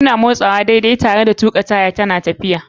Kuna motsawa daidai tare da tuƙi taya yana tafiya daidai.